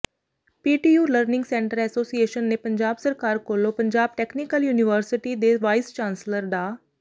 PTU learning centre association ਨੇ ਪੰਜਾਬ ਸਰਕਾਰ ਕੋਲੋਂ ਪੰਜਾਬ ਟੈਕਨੀਕਲ ਯੂਨੀਵਰਸਿਟੀ ਦੇ ਵਾਈਸ ਚਾਂਸਲਰ ਡਾ